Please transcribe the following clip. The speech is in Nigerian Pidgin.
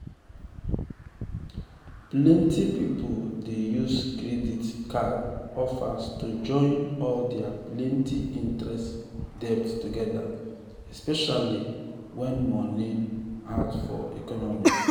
plenty people dey use credit um card offers to join all their plenty-interest debt together especially um when money um hard for economy.